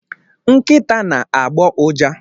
Nkịta na-agbọ ụja.